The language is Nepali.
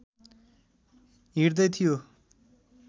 हिँड्दै थियो